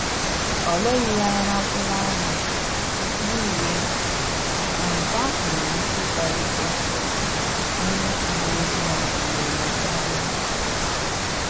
Ọ leghi ya anya na mkpuru anya, n’ihi egwu na nke ahụ nwere ike ịkpalite onye uweojii ahụ iwe iwe karia